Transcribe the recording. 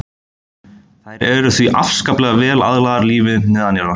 Þær eru því afskaplega vel aðlagaðar lífi neðanjarðar.